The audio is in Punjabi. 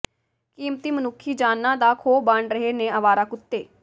ਕੀਮਤੀ ਮਨੁੱਖੀ ਜਾਨਾਂ ਦਾ ਖੋਅ ਬਣ ਰਹੇ ਨੇ ਆਵਾਰਾ ਕੁੱਤੇ